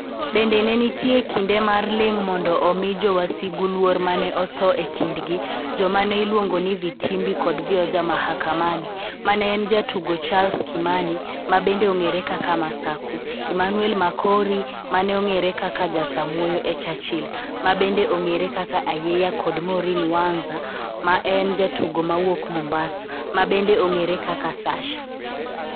Bende ne nitie kinde mar ling' mondo omi jowasigu luor ma ne otho e kindgi joma ne iluongo ni Vitimbi kod Vioja Mahakamani ma ne en jatugo Charles Kimani ma bende ong'ere kaka Masaku, Emmanuel Makori ma ne ong'ere kaka jasamuoyo e Churchill ma bende ong'ere kaka Ayeiya kod Maureen Wanza ma en jatugo ma wuok Mombasa, ma bende ong'ere kaka Sasha.